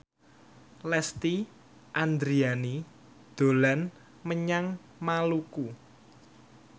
Lesti Andryani dolan menyang Maluku